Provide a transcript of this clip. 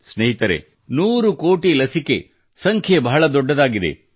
ಸ್ನೇಹಿತರೆ ನೂರು ಕೋಟಿ ಲಸಿಕೆಯ ಸಂಖ್ಯೆ ಬಹಳ ದೊಡ್ಡದಾಗಿದೆ